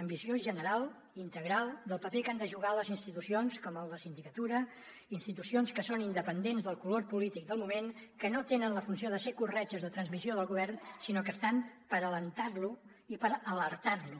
amb visió general integral del paper que han de jugar les institucions com la sindicatura institucions que són independents del color polític del moment que no tenen la funció de ser corretges de transmissió del govern sinó que estan per animar lo i per alertar lo